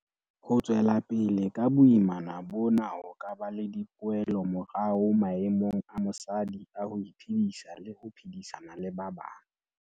Ho tswela pele ka boimana bona ho ka ba le dipoelomorao maemong a mosadi a ho iphedisa le ho phedisana le ba bang.